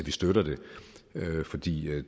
vi støtter det fordi det